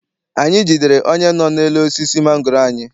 Anyị jidere onye nọ n'elu osisi mangoro anyị.